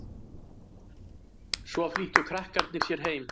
Svo flýttu krakkarnir sér heim.